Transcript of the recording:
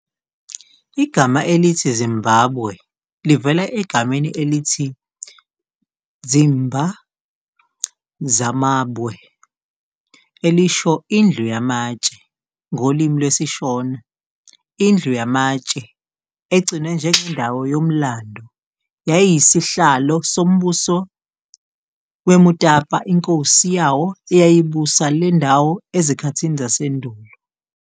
Igama elithi Zimbabwe livela egameni elithi "dzimba dzamabwe" elisho "indlu yamatshe" ngolimi lwesiShona. Indlu yamatshe, egcinwe njengendawo yomlando, yayiyisihlalo soMbuso weMutapa inkosi yawo eyayibusa le ndawo ezikhathini zasendulo.